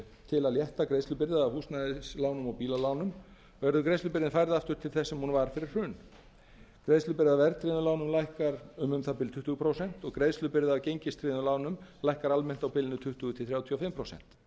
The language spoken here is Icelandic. til að létta greiðslubyrði af húsnæðislánum og bílalánum verður greiðslubyrðin færð aftur til þess sem hún var fyrir hrun greiðslubyrði af verðtryggðum lánum lækkar um um það bil tuttugu prósent og greiðslubyrði af gengistryggðum lánum lækkar almennt á tuttugu til þrjátíu og fimm